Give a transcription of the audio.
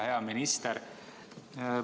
Hea minister!